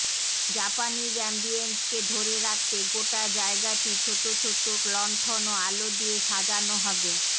Japanese অ্যাম্বিয়েন্সকে ধরে রাখতে গোটা জায়গাটি ছোট ছোট লন্ঠন ও আলো দিয়ে সাজানো হবে